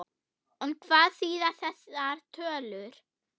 En hvað þýða þessar tölur?